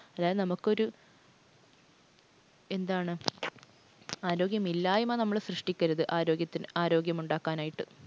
അതായത് നമുക്കൊരു എന്താണ് ആരോഗ്യമില്ലായ്മ നമ്മൾ സൃഷ്ടിക്കരുത് ആരോഗ്യത്തിന് ആരോഗ്യം ഉണ്ടാക്കാനായിട്ട്.